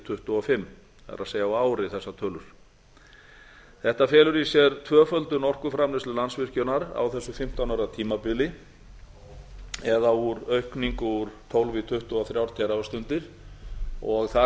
þúsund tuttugu og fimm það er á ári þessari tölur þetta felur í sér tvöföldun orkuframleiðslu landsvirkjunar á þessu fimmtán ára tímabili eða aukning úr tólf í tuttugu og þrjú teravattstundir og þar